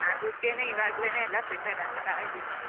ಅದಿಕ್ಕೇನೆ ಇವಾಗ್ಲೇನೆ ಎಲ್ಲ prepare ಆಗ್ತಾ ಇದ್ದೀನಿ.